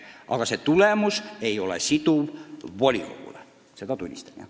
Aga see tulemus ei ole volikogule siduv, seda ma tunnistan.